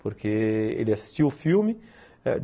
Porque ele assistiu o filme.